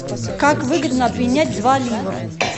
как выгодно обменять два ливр